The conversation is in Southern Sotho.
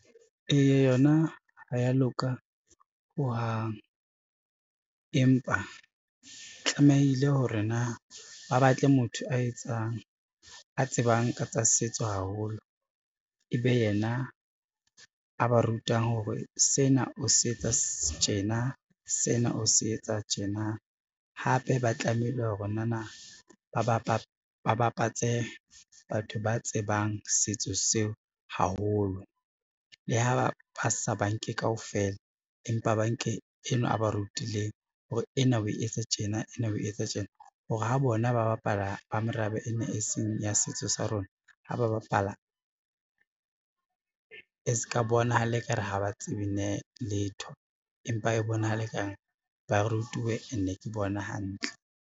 Eya yona ha ya loka ho hang, empa tlamehile hore na ba batle motho a etsang a tsebang ka tsa setso haholo, e be yena a ba rutang hore sena o se etsa tjena, sena o se etsa tjena. Hape ba tlamehile hore nana bapatse batho ba tsebang setso seo haholo, le ha ba sa ba nke kaofela empa banke enwa a ba rutileng hore ena o e etsa tjena, ena o e etsa tjena hore ha bona ba bapala ba merabe e na e seng ya setso sa rona ha ba bapala e se ka bonahala e ka re ha ba tsebe letho empa e bonahala e ka re ba rutuwe ene ke bona hantle.